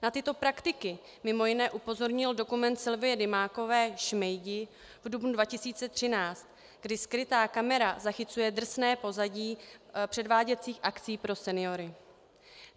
Na tyto praktiky mimo jiné upozornil dokument Sylvie Dymákové Šmejdi v dubnu 2013, kdy skrytá kamera zachycuje drsné pozadí předváděcích akcí pro seniory.